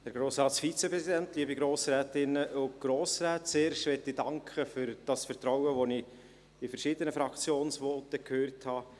Zuerst möchte ich für das Vertrauen in die Fachleute des KAWA danken, welches ich in verschiedenen Fraktionsvoten gehört habe.